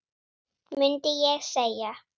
mundi ég segja.